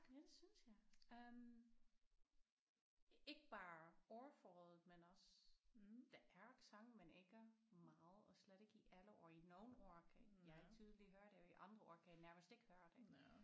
Ja det synes jeg øh ikke bare ordforrådet men også der er accent men ikke meget og slet ikke i alle ord i nogle ord kan jeg tydeligt høre det og i andre ord kan jeg nærmest ikke høre det